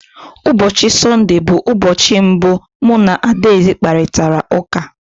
Ụbọchị Sọnde bụ ụbọchị mbụ mụ na Adaeze kparịtara ụka.